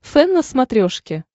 фэн на смотрешке